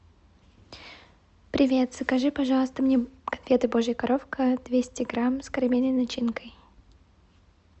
привет закажи пожалуйста мне конфеты божья коровка двести грамм с карамельной начинкой